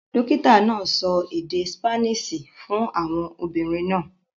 Dókìtà náà sọ èdè Sípáníìṣì fún àwọn obìnrin náà.